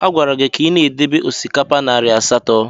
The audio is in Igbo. A gwara gị ka ị debe osikapa narị asatọ!